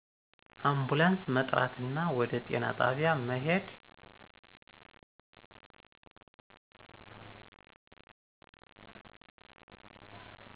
አንፑላንስ መጥራትና ወደ ጤና ጣቢያ መሄድ